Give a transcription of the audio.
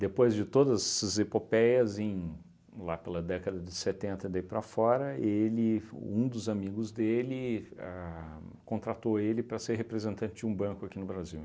Depois de todas essas epopeias, em lá pela década de setenta daí para fora, ele f um dos amigos dele a contratou ele para ser representante de um banco aqui no Brasil.